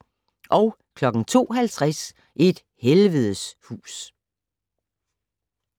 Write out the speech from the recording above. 02:50: Et helvedes hus